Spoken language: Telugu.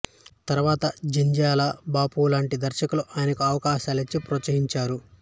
తర్వాత జంధ్యాల బాపు లాంటి దర్శకులు ఆయనకు అవకాశాలిచ్చి ప్రోత్సహించారు